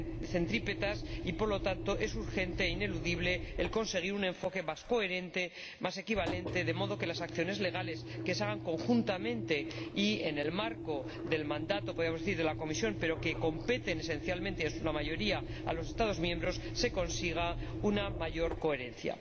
centrípetas. Por lo tanto, es urgente e ineludible conseguir un enfoque más coherente, más equivalente, de modo que, en las acciones legales que se emprendan conjuntamente y en el marco del mandato de la Comisión pero que competan, esencialmente y en su mayoría, a los Estados miembros, se consiga una mayor coherencia.